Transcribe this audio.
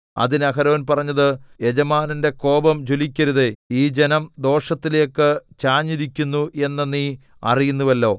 അതിന് അഹരോൻ പറഞ്ഞത് യജമാനന്റെ കോപം ജ്വലിക്കരുതേ ഈ ജനം ദോഷത്തിലേക്ക് ചാഞ്ഞിരിക്കുന്നു എന്ന് നീ അറിയുന്നുവല്ലോ